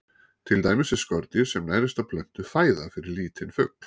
Til dæmis er skordýr sem nærist á plöntu fæða fyrir lítinn fugl.